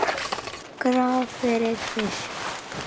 Graf fyrir fisk.